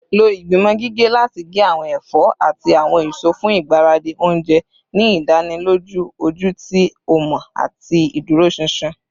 Lo igbimọ gige lati ge awọn ẹfọ ati awọn eso fun igbaradi ounjẹ, ni idaniloju oju ti o mọ ati iduroṣinṣin